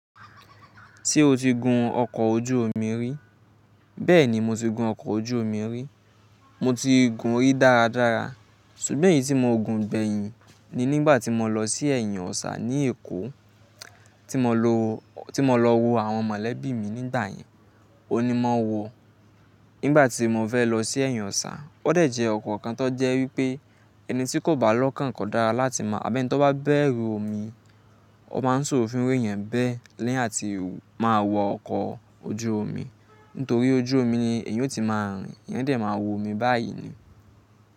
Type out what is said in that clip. Ṣé o ti gun ọkọ̀ ojú omi rí, bẹ́ẹ̀ni mo ti gun ọkọ̀ ojú omi rí. Mo ti gun rí dáradára ṣùgbọ́n èyí tí mo gun gbẹ̀yìn ni nígbà tí mo lọ sí ẹ̀yìn Ọ̀sà ní Èkó, tí mo lọ wo àwọn mọ̀lẹ́bí mi nígbà yẹn. On ni mo wò ó nígbà tí mo fẹ́ lọ sí ẹ̀yìn Ọ̀sà. Ó dẹ̀ jẹ́ ọkọ̀ kan tó jẹ́ wípé ẹni tí kò bá lọ́kàn kọ́ dára láti máa, àbí ẹni tí wọ́n bá bẹ̀rù omi, wọ́n máa ń sọ òfin wí yẹn bẹ́ẹ̀ léyìn láti máa wọ ọkọ̀ ojú omi. Nítorí ojú omi ni èèyàn ó ti máa rìn. Èèyàn o dẹ̀ máa wọ omi báyìí ni.